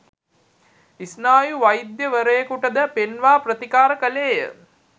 ස්නායු වෛද්‍ය වරයකුටද පෙන්වා ප්‍රතිකාර කළේය.